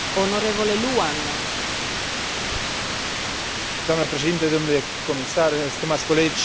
În contextul actual nu putem ignora faptul că rata șomajului în rândul tinerilor se apropie de